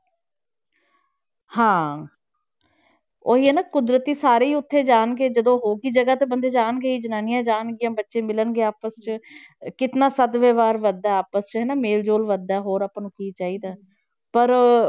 ਹਾਂ ਉਹੀ ਹੈ ਨਾ ਕੁਦਰਤੀ ਸਾਰੇ ਹੀ ਉੱਥੇ ਜਾਣਗੇ, ਜਦੋਂ ਜਗ੍ਹਾ ਤੇ ਬੰਦੇ ਜਾਣਗੇ ਹੀ ਜਨਾਨੀਆਂ ਜਾਣਗੀਆਂ, ਬੱਚੇ ਮਿਲਣਗੇ ਆਪਸ 'ਚ ਕਿੰਨਾ ਸਦ ਵਿਵਹਾਰ ਵੱਧਦਾ ਹੈ ਆਪਸ 'ਚ ਹਨਾ, ਮੇਲ ਜੋਲ ਵੱਧਦਾ ਹੈ ਹੋਰ ਆਪਾਂ ਨੂੰ ਕੀ ਚਾਹੀਦਾ ਹੈ ਪਰ